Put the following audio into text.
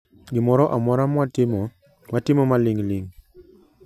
Gimoro amora mwatimo, watimo maling ling